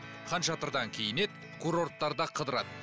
ханшатырдан киінеді курорттарда қыдырады